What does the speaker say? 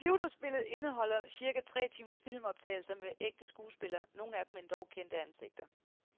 Computerspillet indeholder cirka tre timers filmoptagelser med ægte skuespillere, nogle af dem endog kendte ansigter.